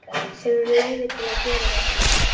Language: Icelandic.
Hefurðu leyfi til að gera þetta?